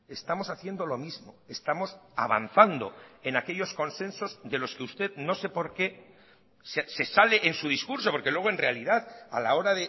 estamos haciendo lo mismo estamos avanzando en aquellos consensos de los que usted no sé por qué se sale en su discurso porque luego en realidad a la hora